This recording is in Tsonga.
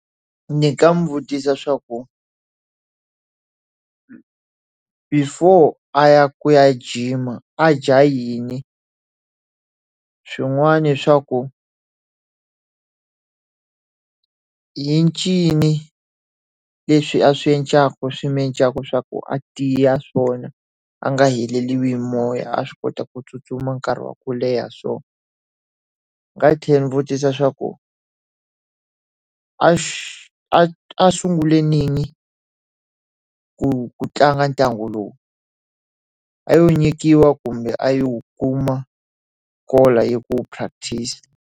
Ndzi nga n'wi vutisa swa ku before a ya ku ya jima, a dya yini? Swin'wana swa ku i ncini leswi a swi endlaka swi n'wi endlaka swa ku a tiya swona a nga heleli hi moya, a swi kota ku tsutsuma nkarhi wa ku leha so? Ndzi nga tlhela ni vutisa swa ku a a a sungule rini ku tlanga ntlangu lowu? A lo nyikiwa kumbe a lowu kuma hi ku practice?